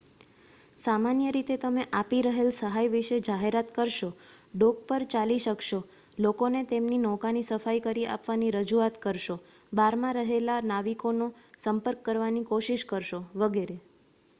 સામાન્ય રીતે તમે આપી રહેલ સહાય વિષે જાહેરાત કરશો ડૉક પર ચાલી શકશો લોકોને તેમની નૌકાની સફાઇ કરી આપવાની રજૂઆત કરશો બારમાં રહેલા નાવિકોનો સંપર્ક કરવાની કોશિશ કરશો વગેરે